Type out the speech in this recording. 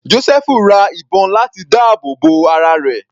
Josẹfu ra ìbọn láti dáàbò bo ara rẹ̀.